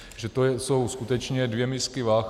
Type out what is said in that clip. Že to jsou skutečně dvě misky vah.